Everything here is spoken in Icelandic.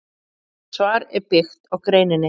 Þetta svar er byggt á greininni.